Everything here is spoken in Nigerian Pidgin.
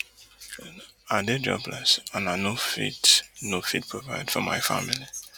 i dey jobless and i no fit no fit provide for my family